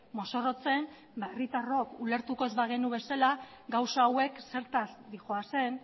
mozorrotzen herritarrok ulertuko ez bagenu bezala gauza hauek zertaz doazen